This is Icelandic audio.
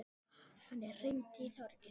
Anne, hringdu í Þórgrím.